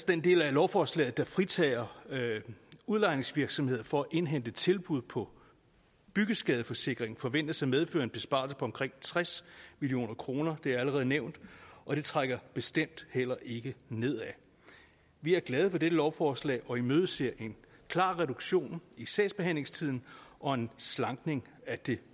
den del af lovforslaget der fritager udlejningsvirksomheder fra indhente tilbud på byggeskadeforsikring forventes at medføre en besparelse på omkring tres million kroner det er allerede nævnt og det trækker bestemt heller ikke nedad vi er glade for dette lovforslag og imødeser en klar reduktion i sagsbehandlingstiden og en slankning af det